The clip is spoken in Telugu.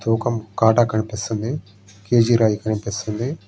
ఒక కాటా కనిపిస్తుంది. కేజీ రాయి కనిపిస్తుంది.